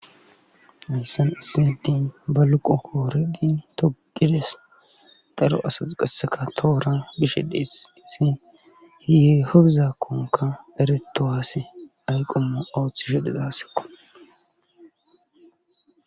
ayssan issi adei ba loqo kooredi togides daro asas qaseka toora bishe dee isi hiye hobzakkonka ereto haase ayqommo ooththi shedizaskkon